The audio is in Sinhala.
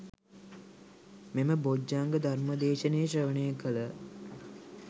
මෙම බොජ්ක්‍ධංග ධර්ම දේශනය ශ්‍රවණය කළ